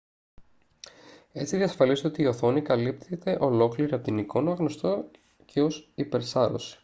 έτσι διασφαλίζεται ότι η οθόνη καλύπτεται ολόκληρη από την εικόνα γνωστό και ως υπερσάρωση